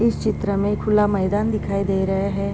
इस चित्र में खुला मैदान दिखाई दे रहे हैं |